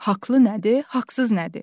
Haqlı nədir, haqsız nədir?